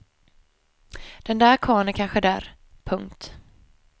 Den där karln är kanske där. punkt